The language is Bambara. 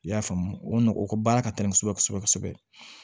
I y'a faamu o ka baara ka teli kosɛbɛ kosɛbɛ